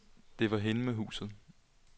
Det var hende med huset.